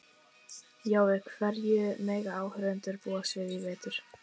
Jói, hverju mega áhorfendur búast við í vetur?